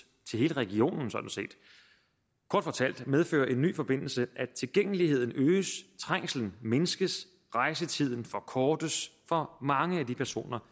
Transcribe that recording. til hele regionen sådan set kort fortalt medfører en ny forbindelse at tilgængeligheden øges trængslen mindskes og rejsetiden forkortes for mange af de personer